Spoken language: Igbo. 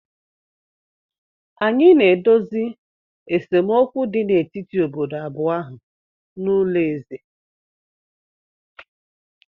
Anyị na-edozi esemokwu dị n'etiti obodo abụọ ahụ n'ụlọ eze